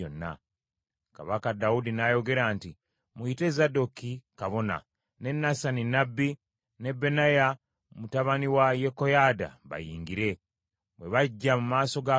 Kabaka Dawudi n’ayogera nti, “Muyite Zadooki kabona, ne Nasani nnabbi ne Benaya mutabani wa Yekoyaada bayingire.” Bwe bajja mu maaso ga kabaka,